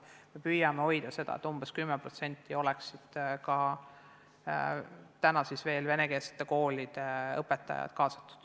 Me püüame hoida proportsioone ja vaadata, et umbes 10% ulatuses oleksid kaasatud venekeelsete koolide õpetajad.